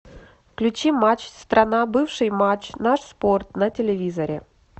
включи матч страна бывший матч наш спорт на телевизоре